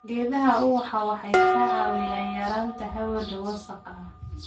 Geedaha ubaxa waxay ka caawiyaan yareynta hawada wasakhda ah.